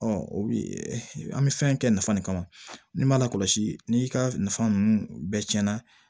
o bi an bi fɛn kɛ nafa de kama n'i ma lakɔlɔsi ni ka nafa nunnu bɛɛ cɛn na